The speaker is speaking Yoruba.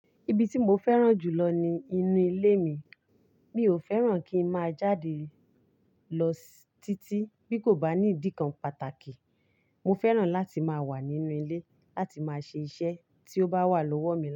Ibi tí mo fẹ́ràn jù lọ ni inú ilé mi. Mi ò fẹ́ràn kí n má jáde lọ si títí bí kò bá ní ìdí kan pàtàkì. Mo fẹ́ràn láti má wà nínú ilé láti má ṣe iṣẹ́ tí ó bá wà lọ́wọ́ mi.